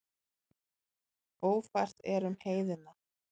Ófært er um heiðina.